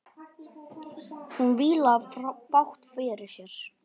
Hún vílaði fátt fyrir sér.